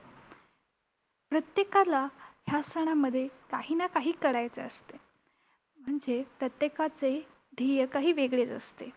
प्रत्येकाला ह्या सणामध्ये काही ना काही करायचे असते. म्हणजे प्रत्येकाचे ध्येय काही वेगळेच असते.